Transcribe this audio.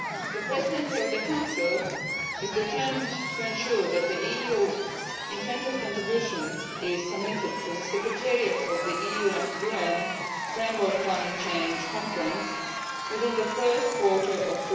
The Presidency of the Council is determined to ensure that the EU intended contribution is submitted to the secretariat of the UN Framework Climate Change Conference within the first quarter of